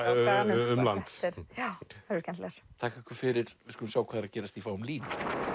um land þakka ykkur fyrir við skulum sjá hvað er að gerast í fáum línum